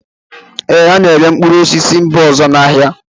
Ee, a na-erekwa mkpụrụ osisi si mba ọzọ n'ahịa